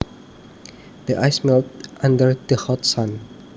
The ice melted under the hot sun